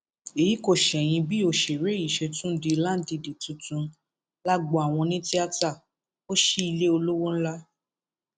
èyí kò ṣẹyìn bí òṣèré yìí ṣe tún di láńdìdì tuntun lágbo àwọn onítìata ó ṣí ilé olówó ńlá